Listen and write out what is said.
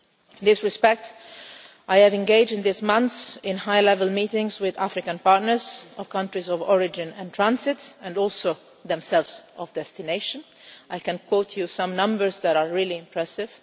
In this respect I have engaged in these months in high level meetings with African partners, from countries of origin and transit, and also themselves of destination. I can quote some numbers that are really impressive.